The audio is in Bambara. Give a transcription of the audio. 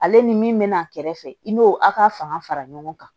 Ale ni min bɛ na kɛrɛfɛ i n'o a ka fanga fara ɲɔgɔn kan